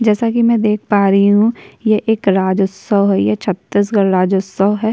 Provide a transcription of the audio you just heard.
जैसा कि मैं देख पा रही हूं यह एक राजउत्सव है यह छत्तीसगढ़ राज्यउत्सव है।